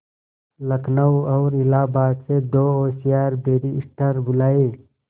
लखनऊ और इलाहाबाद से दो होशियार बैरिस्टिर बुलाये